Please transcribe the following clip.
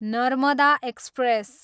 Narmada express